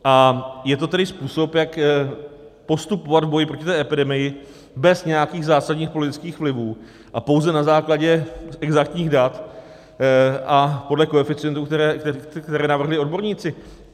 A je to tedy způsob, jak postupovat v boji proti té epidemii bez nějakých zásadních politických vlivů a pouze na základě exaktních dat a podle koeficientů, které navrhují odborníci.